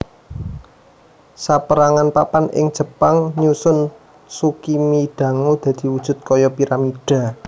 Saperangan papan ing Jepang nyusun tsukimidango dadi wujud kaya piramidha